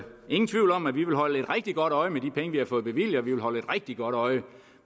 ingen tvivl om at vi vil holde et rigtig godt øje med de penge vi har fået bevilget og vi vil holde et rigtig godt øje